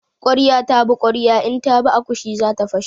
Ƙwarya ta bi ƙwarya in ta bi akushi zata fashe.